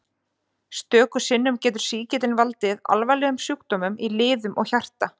Stöku sinnum getur sýkillinn valdið alvarlegum sjúkdómum í liðum og hjarta.